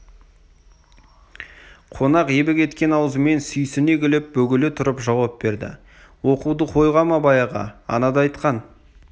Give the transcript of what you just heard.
қонақ ебі кеткен аузымен сүйсіне күліп бөгеле тұрып жауап берді нахуды қойғам абай аға анада айтқан